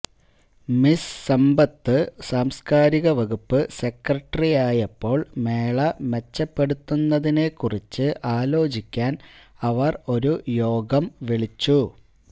miss Sampath സാംസ്കാരിക വകുപ്പ് സെക്രട്ടറിയായപ്പോൾ മേള മെച്ചപ്പെടുത്തുന്നതിനെക്കുറിച്ച് ആലോചിക്കാൻ അവർ ഒരു യോഗം വിളിച്ചു